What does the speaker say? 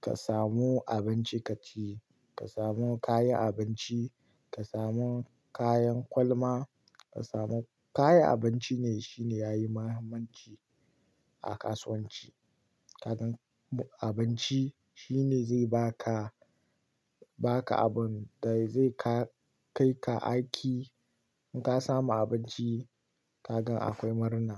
ka samu abinci ka ci, ka samu kayan abinci, ka samu kayan kwalama, ka samu-- kayan abinci ne shine yayi muhimmanci a kasuwanci. Kagan abinci shine zai ba ka, ba ka abun da zai ka kai ka aiki. In ka samu abinci kaga akwai murna.